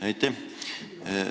Aitäh!